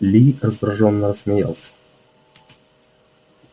ли раздражённо рассмеялся